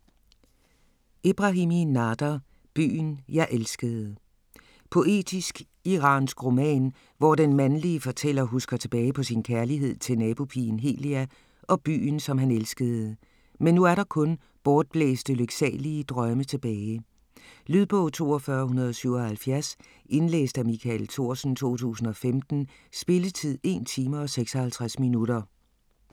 Ebrahimi, Nader: Byen jeg elskede Poetisk, iransk roman, hvor den mandlige fortæller husker tilbage på sin kærlighed til nabopigen Helia og byen, som han elskede. Men nu er der kun bortblæste, lyksalige drømme tilbage. Lydbog 42177 Indlæst af Michael Thorsen, 2015. Spilletid: 1 time, 56 minutter.